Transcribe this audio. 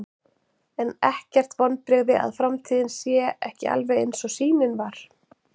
Er ekkert vonbrigði að framtíðin sé ekki alveg eins og sýnin var?